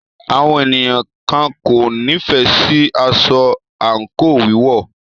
Àwọn ènìyàn kan kò nífẹẹ sí aṣọ àńkò wíwọ̀.